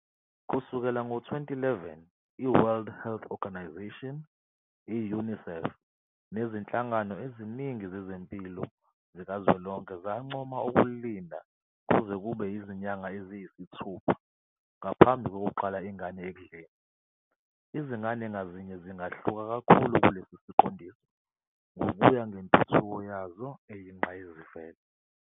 Kusukela ngo-2011, i- World Health Organization, i- UNICEF nezinhlangano eziningi zezempilo zikazwelonke zancoma ukulinda kuze kube yizinyanga eziyisithupha ngaphambi kokuqala ingane ekudleni, izingane ngazinye zingahluka kakhulu kulesi siqondiso ngokuya ngentuthuko yazo eyingqayizivele.